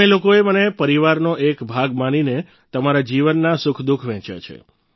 તમે લોકોએ મને પરિવારનો એક ભાગ માનીને તમારા જીવનના સુખદુઃખ વહેંચ્યા છે